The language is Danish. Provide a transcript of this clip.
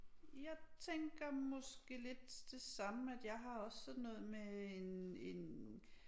Jeg tænker måske lidt det samme at jeg har også sådan noget med en en